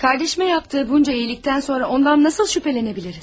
Kardeşime yaptığı bunca iyilikten sonra ondan nasıl şüphelenebiliriz?